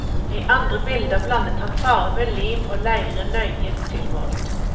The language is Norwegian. I andre bilder blandet han farve, lim og leire nøye tilmålt.